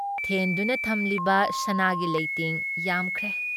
ꯊꯦꯟꯗꯨꯅ ꯊꯝꯂꯤꯕ ꯁꯅꯥꯒꯤ ꯂꯩꯇꯦꯡ ꯌꯥꯝꯈ꯭ꯔꯦ ꯫